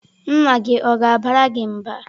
Nna gị ọ̀ ga-abara gị mba?